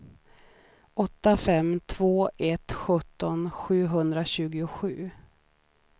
åtta fem två ett sjutton sjuhundratjugosju